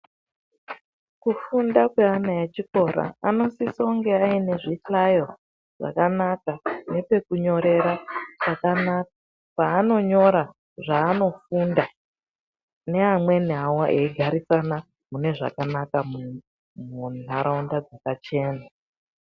Kufunda kweana echikora anosiso kunge aine zvihlayo zvakanaka nepekunyorera pakanaka paanonyora zvaanofunda neamweni awo eigarisana munezvakanaka mundaraunda dzakachena.